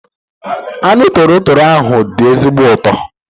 Anụ toro toro ahu dị ezigbo ụtọ